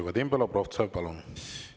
Vadim Belobrovtsev, palun!